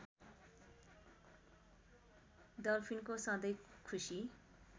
डल्फिनको सधैँ खुसी